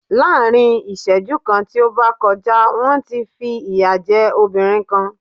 Lá́á̀rin ìsẹ́jú kan tí ó bá kọjá, wọ́n ti fi ìyà jẹ́ obìrin kan.